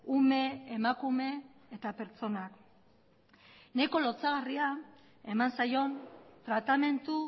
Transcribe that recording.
ume emakume eta pertsonak nahiko lotsagarria eman zaion tratamendu